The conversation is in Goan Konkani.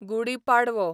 गुडी पाडवो